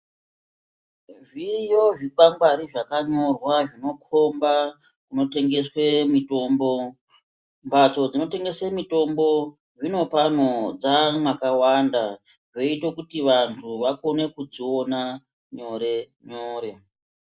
Zviriyo zvikwangwari zvakanyorwa zvinokhomba kunotengeswe mitombo, mbatso dzinotengese mitombo zvinopano dzamwakawanda zvoita kuti vantu vakone kudziona nyore nyore.